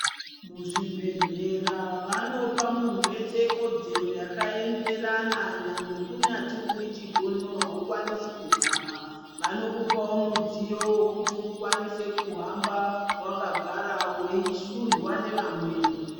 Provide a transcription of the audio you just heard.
Muzvibhedhlera vanopa muntu wese kodzero yakaenderana nyangwe kunyati uri chigono aukwanisi kuhamba vanokupawo mudziyo wekuti ukwqnise kuhamba wakagara weishundwa nevamweni.